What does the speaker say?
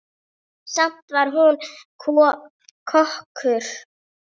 Samt var hún frábær kokkur.